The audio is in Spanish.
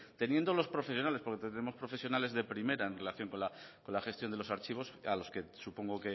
teniendo los profesionales porque tenemos profesionales de primera en relación con la gestión de los archivos a los que supongo